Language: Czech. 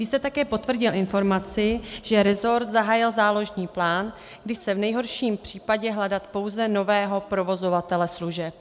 Vy jste také potvrdil informaci, že resort zahájil záložní plán, kdy chce v nejhorším případě hledat pouze nového provozovatele služeb.